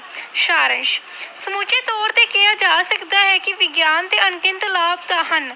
ਸਾਰ ਅੰਸ਼ ਸਮੁੱਚੇ ਤੌਰ ਤੇ ਕਿਹਾ ਜਾ ਸਕਦਾ ਹੈ ਕਿ ਵਿਗਿਆਨ ਦੇ ਅਣਗਿਣਤ ਲਾਭ ਤਾਂ ਹਨ,